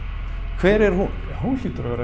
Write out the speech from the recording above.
hver er hún hún hlýtur að vera